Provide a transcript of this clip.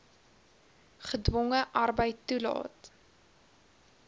gedwonge arbeid toelaat